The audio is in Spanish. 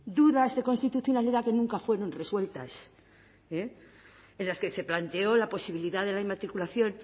dudas de constitucionalidad que nunca fueron resueltas en las que se planteó la posibilidad de la inmatriculación